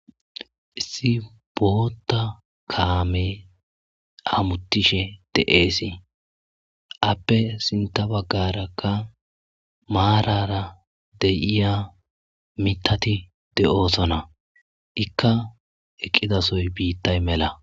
issi boota kaame hamutishe de'eesi appe sinta baggarakka maarara de'iya mitati de'osona ikka eqqidasoy biittay mela